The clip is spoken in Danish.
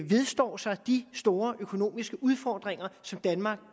vedstår sig de store økonomiske udfordringer som danmark